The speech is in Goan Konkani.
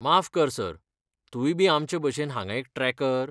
माफ कर , सर, तूंय बी आमचेभशेन हांगा एक ट्रॅकर?